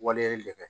Waleyali de bɛ